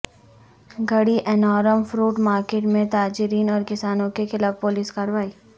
گڈی Annaram fruit market میں تاجرین اور کسانوں کے خلاف پولیس کارروائی